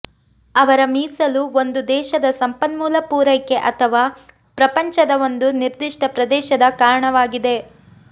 ಅವರ ಮೀಸಲು ಒಂದು ದೇಶದ ಸಂಪನ್ಮೂಲ ಪೂರೈಕೆ ಅಥವಾ ಪ್ರಪಂಚದ ಒಂದು ನಿರ್ದಿಷ್ಟ ಪ್ರದೇಶದ ಕಾರಣವಾಗಿವೆ